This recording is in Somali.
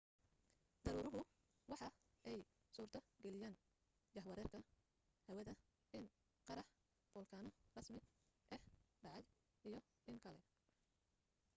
daruuruhu waxa ay suurto geliyen jahwareerka hawada in qarax folkaano rasmi ah dhacay iyo in kale